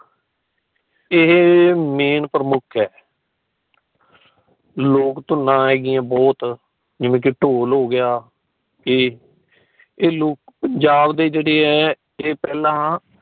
ਇਹ ਮੇਨ ਪ੍ਰਮੁੱਖ ਹੈ। ਲੋਕ ਧੁੰਨਾਂ ਹੈਗੀ ਆ ਬਹੁਤ ਜਿਵੇ ਕਿ ਡੋਲ ਹੋ ਗਿਆ ਏ ਏ ਲੋਕ ਪੰਜਾਬ ਦੇ ਜੇੜੇ ਹੈ ਏ ਪਹਿਲਾਂ